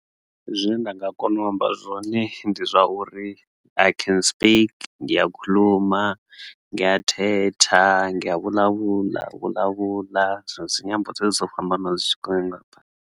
Zwine nda nga kona u amba zwone ndi zwa uri i can speak, ngiyakhulumanga, ngiyathetha, ngi ya vulavula, ndi dzinyambo dzedzi dzo fhambana .